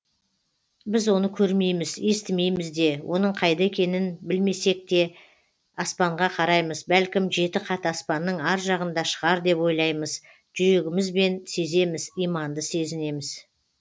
біз оны көрмейміз естімейміз де оның қайда екенін білмесек те аспанға қараймыз бәлкім жеті қат аспанның ар жағында шығар деп ойлаймыз жүрегімізбен сеземіз иманды сезінеміз